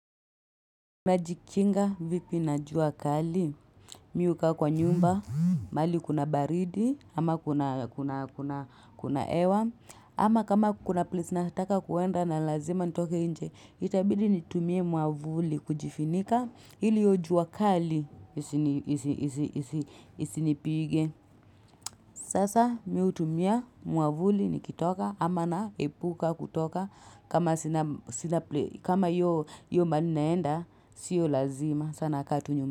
Najikinga vipi na juakali?, mimi ukaa kwa nyumba, mahali kuna baridi, ama kuna hewa, ama kama kuna place nataka kuenda na lazima nitoke nje, itabidi nitumie muamvuli kujifunika, hili hiyo juakali isinipige. Sasa mimi hutumia mwamvuli nikitoka ama na epuka kutoka kama hiyo mahali naenda siyo lazima sasa nakaa tu nyumbani.